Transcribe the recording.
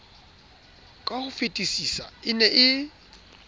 ka hofetisisa e ne e